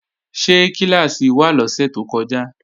Ṣé kíláàsì wà lọ́sẹ̀ tó kọjá?